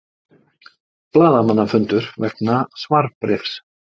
Blaðamannafundur vegna svarbréfs